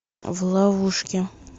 в ловушке